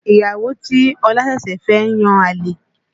Ìyàwó tí Ọ̀la ṣẹ̀ṣẹ̀ fẹ́ ń yan àlè